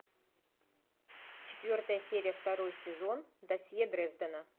четвертая серия второй сезон досье дрездена